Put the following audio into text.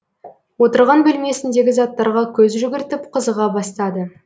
отырған бөлмесіндегі заттарға көз жүгіртіп қызыға бастады